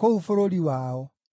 kũu bũrũri wao.